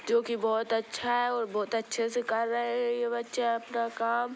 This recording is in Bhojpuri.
जोकि बहुत अच्छा और बहुत अच्छे से कर रहे है ये बच्चे अपना काम।